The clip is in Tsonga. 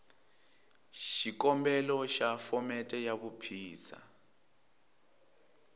xikombelo xa phomete ya vuphisa